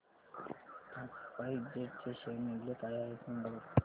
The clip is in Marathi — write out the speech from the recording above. आज स्पाइस जेट चे शेअर मूल्य काय आहे सांगा बरं